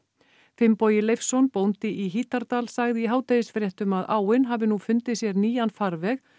Finnbogi Leifsson bóndi í Hítardal sagði í hádegisfréttum að áin hafi nú fundið sér nýjan farveg